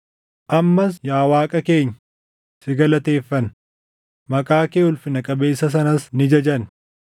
Ammas yaa Waaqa keenya, si galateeffanna; maqaa kee ulfina qabeessa sanas ni jajanna.